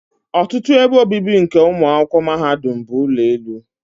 ọtụtụ ebe obibi nke ụmụ akwụkwọ mahadum bụ ụlọ elu.